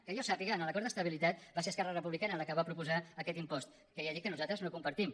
que jo sàpiga en l’acord d’estabilitat va ser esquerra republicana la que va proposar aquest impost que ja dic que nosaltres no compartim